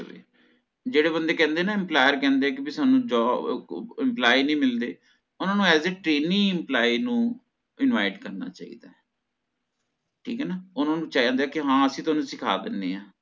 ਜੇਹੜੇ ਬੰਦੇ ਕਹੰਦੇ ਹੈ ਨ employer ਕਹੰਦੇ ਹੈ ਕੀ ਸਾਨੂੰ job ਅਹ employee ਨੀ ਮਿਲਦੇ ਓਹਨਾਂ ਨੂੰ as a training employee ਨੂੰ invite ਕਰਨਾ ਚਾਹੀਦਾ ਠੀਕ ਹੈ ਨਾ ਓਹਨਾਂ ਨੂੰ ਚਾਹੀਦਾ ਹੈ ਕੀ ਹਾਂ ਅਸੀਂ ਤੁਹਾਨੂੰ ਸਿਖਾਂ ਦਿੰਦੇ ਆ